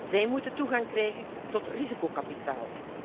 Zij moeten toegang krijgen tot risicokapitaal.